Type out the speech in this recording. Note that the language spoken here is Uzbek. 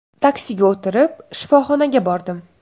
Taksiga o‘tirib shifoxonaga bordim.